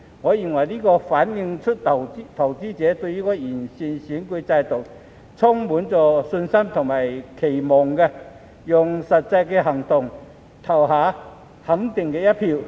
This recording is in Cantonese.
我認為，這反映出投資者對完善選舉制度充滿信心和期望，用實際行動投下肯定的一票。